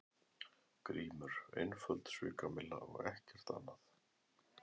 GRÍMUR: Einföld svikamylla og ekkert annað.